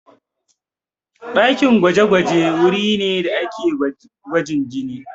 Ɗakin gwaje-gwaje wuri ne da ake gwajin jini.